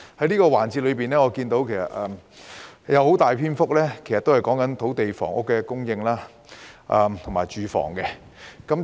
這個環節的辯論中有很大篇幅是關於土地及房屋的供應，以及居住環境。